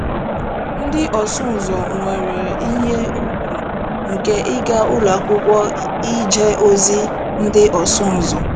Ndị ọsụ ụzọ nwere ihe ùgwù nke ịga Ụlọ Akwụkwọ Ije Ozi ndị Ọsụ Ụzọ.